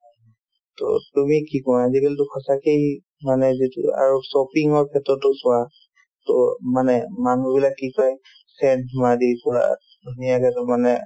to তুমি কি কোৱা আজিকালিতো সঁচাকেই মানে যিটো আৰু shopping ৰ ক্ষেত্ৰতো চোৱা to মানে মানুহবিলাক কি কই scent মাৰি পূৰা ধুনীয়াকে মানে